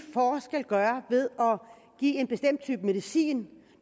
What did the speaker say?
gøre ved at give en bestemt type medicin